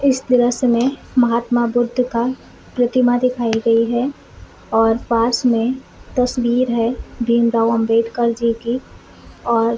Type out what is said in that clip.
इस दृश्य में महात्मबुद्ध का प्रतिमा दिखाई गयी है और पास में तस्वीर है भीमराव अम्बेडकर जी की और --